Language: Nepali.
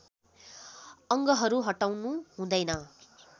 अङ्गहरू हटाउनु हुँदैन